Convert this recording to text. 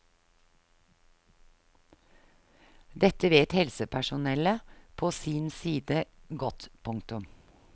Dette vet helsepersonellet på sin side godt. punktum